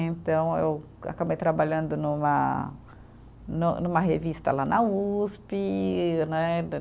Então, eu acabei trabalhando numa num, numa revista lá na Uspe né.